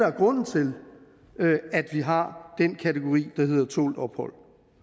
er grunden til at vi har den kategori der hedder tålt ophold